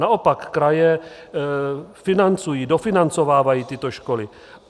Naopak, kraje financují, dofinancovávají tyto školy.